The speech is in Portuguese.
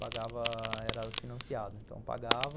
Pagava... Era financiado, então pagava.